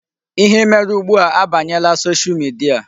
Ihe mere ugbu a abanyela Social media.